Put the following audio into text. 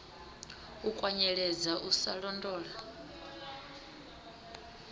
u kwanyeledza u sa londola